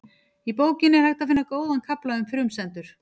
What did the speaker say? Í bókinni er hægt að finna góðan kafla um frumsendur.